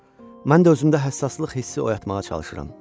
Mən də özümdə həssaslıq hissi oyatmağa çalışıram.